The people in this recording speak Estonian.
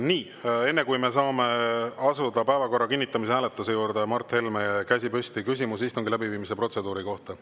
Nii, enne kui me saame asuda päevakorra kinnitamise hääletuse juurde, Mart Helmel on käsi püsti, tal on küsimus istungi läbiviimise protseduuri kohta.